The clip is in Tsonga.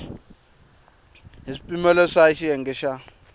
hi swipimelo swa xiyenge xa